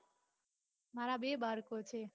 મારા બે બાળકો છે